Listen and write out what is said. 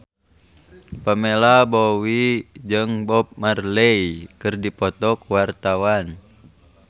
Pamela Bowie jeung Bob Marley keur dipoto ku wartawan